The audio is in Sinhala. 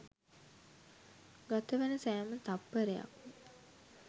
ගතවන සෑම තත්පරයක්ම